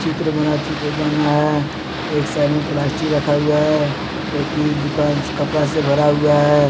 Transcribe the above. एक साइड में प्लास्टिक रखा हुआ है एक हि दुकान कपड़ा से भरा हुआ है।